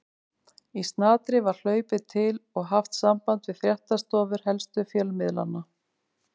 Í snatri var hlaupið til og haft samband við fréttastofur helstu fjölmiðlanna.